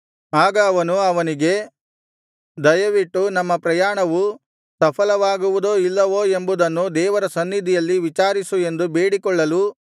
ಆಗ ಅವರು ಅವನಿಗೆ ದಯವಿಟ್ಟು ನಮ್ಮ ಪ್ರಯಾಣವು ಸಫಲವಾಗುವುದೋ ಇಲ್ಲವೋ ಎಂಬುದನ್ನು ದೇವರ ಸನ್ನಿಧಿಯಲ್ಲಿ ವಿಚಾರಿಸು ಎಂದು ಬೇಡಿಕೊಳ್ಳಲು